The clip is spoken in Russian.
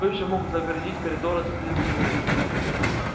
кто ещё мог загородить коридор от стены до стены